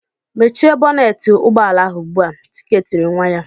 "Mechie bọnetị ụgbọala ahụ ugbu a!" Chike tiri nwa ya.